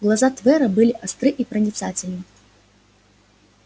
глаза твера были остры и проницательны